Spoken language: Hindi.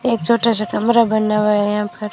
एक छोटा सा कमरा बना हुआ है यहां पर--